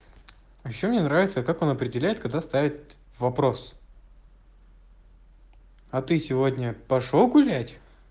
ещё мне нравится как он определяет когда ставят вопрос а ты сегодня пошёл гулять